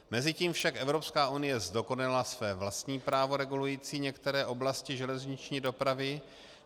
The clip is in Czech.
Mezitím však Evropská unie zdokonalila své vlastní právo regulující některé oblasti železniční dopravy.